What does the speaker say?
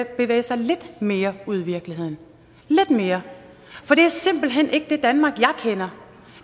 bevæge sig lidt mere ud i virkeligheden lidt mere for det er simpelt hen ikke det danmark jeg kender